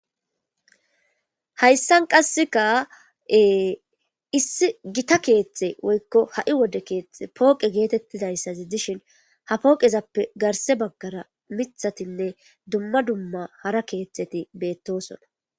Hayssan qasseka issi gita keeththe woykko ha'i wode keethte pooqe geetettidayssazi dishin ha pooqezappe garse baggara mithatinne dumma dumma hara keeththeti beettosona.